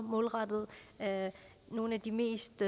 målrettet nogle af de mest